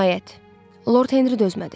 Nəhayət, Lord Henri dözmədi.